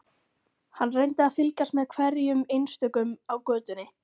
Hann reyndi að fylgjast með hverjum einstökum á götunni.